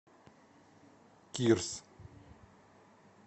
кирс